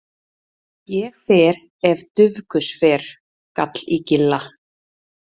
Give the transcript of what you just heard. Ég fer ef Dufgus fer, gall í Gilla.